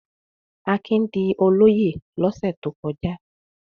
Akin di olóyè lọ́sẹ̀ tó kọjá.